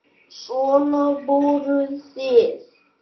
Svona voruð þið.